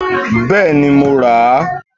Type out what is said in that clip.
Bẹ́ẹ̀ni, mo rà á